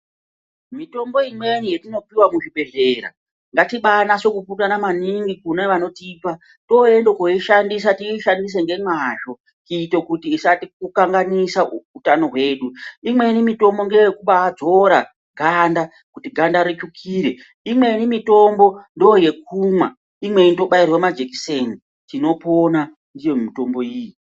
Mitombo imweni yetinopuwa muzvibhedhlera ngatibanase kupurutana maningi kune vanotipa tooenda koishandisa tiishandise ngemwazvo kuite kuti isatikanganisa utano hwedu, imweni mitombo ngeyekubadzora ganda kuti ganda ritsvukire, imweni mitombo ndoyekumwa, imweni inotobairwa majikiseni. Tinopona ndiyo mitombo iyi.